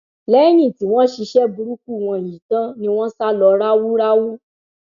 lẹyìn tí wọn ṣiṣẹ burúkú wọn yìí tán ni wọn sá lọ ráúráú